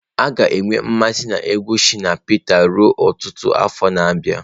A ga-enwe mmasị na egwu Shina Peters ruo ọtụtụ afọ na-abịa.